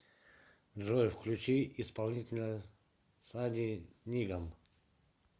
джой включи исполнителя сани нигам